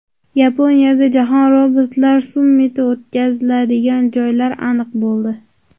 Yaponiyada Jahon robotlar sammiti o‘tkaziladigan joylar aniq bo‘ldi.